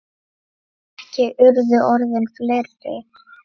Ekki urðu orðin fleiri.